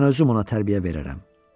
Mən özüm ona tərbiyə verərəm.